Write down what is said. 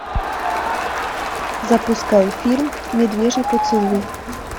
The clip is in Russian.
запускай фильм медвежий поцелуй